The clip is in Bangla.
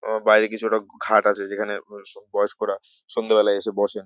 আহ বাইরে কিছুটা ঘাট আছে যেখানে আ বয়স্করা সন্ধ্যেবেলা এসে বসেন।